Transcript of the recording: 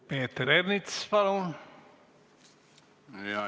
Peeter Ernits, palun!